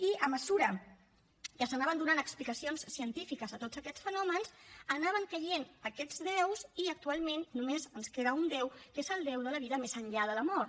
i a mesura que s’anaven donant explicacions científiques a tots aquests fenòmens anaven caient aquests déus i actualment només ens queda un déu que és el déu de la vida més enllà de la mort